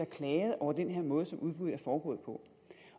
klaget over den måde som udbuddet er foregået på